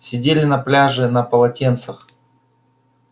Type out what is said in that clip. сидели на пляже на полотенцах